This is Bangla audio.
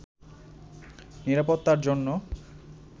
নিরাপত্তার জন্য